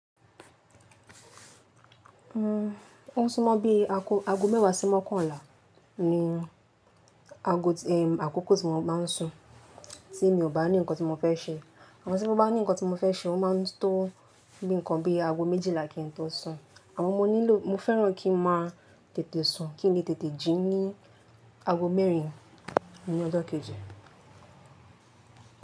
Ó ń súnmọ́ bí i ago mẹ́wàá sí mọ́kànlá ni ago, àkókò tí mo má ń sùn tí mi ò bá ní nǹkan tí mo fẹ́ ṣe. Àmọ́ tí mo bá ní nǹkan tí mo fẹ́ ṣe, ó máa ń tó bíi nǹkan bí i ago méjìlá kí n tó sùn. Àmọ́ mo nílò, mo fẹ́ràn kí ń má tètè sùn, kí n lè tètè jí ní ago mẹ́rin ní ọjọ́ kejì.